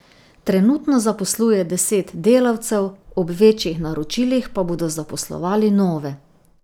Trenutno zaposluje deset delavcev, ob večjih naročilih pa bodo zaposlovali nove.